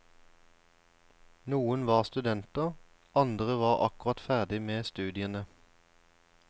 Noen var studenter, andre var akkurat ferdig med studiene.